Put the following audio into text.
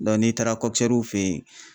n'i taara fɛ yen